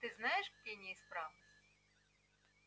ты знаешь где неисправность